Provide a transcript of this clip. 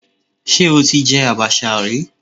Ṣé o ti jẹ àbàṣà rí?